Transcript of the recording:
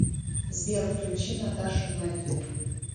сбер включи наташу наффи